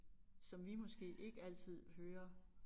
Som vi måske ikke altid hører